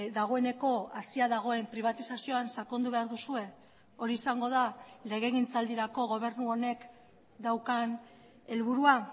dagoeneko hasia dagoen pribatizazioan sakondu behar duzue hori izango da legegintzaldirako gobernu honek daukan helburua